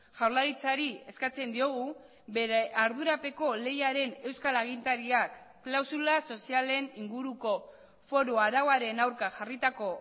jaurlaritzari eskatzen diogu bere ardurapeko lehiaren euskal agintariak klausula sozialen inguruko foru arauaren aurka jarritako